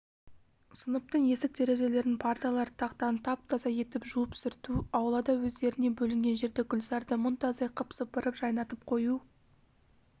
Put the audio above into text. сыныптың есік-терезелерін парталарды тақтаны тап-таза етіп жуып сүрту аулада өздеріне бөлінген жерді гүлзарды мұнтаздай қып сыпырып жайнатып қою